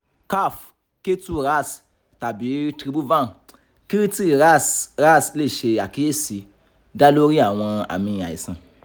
kaph ketu ras tabi tribhuvan kirti ras ras le ṣe akiyesi da lori awọn aami aisan